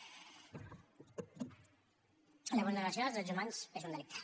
la vulneració dels drets humans és un delicte